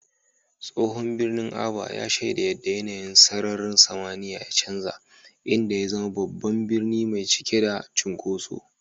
Tsohon birnin Aba ya shaida yadda yanayin sararin samaniya ya canza, inda ya zama babban birni mai cike da cunkoso.